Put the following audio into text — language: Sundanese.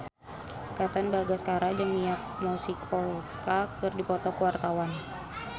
Katon Bagaskara jeung Mia Masikowska keur dipoto ku wartawan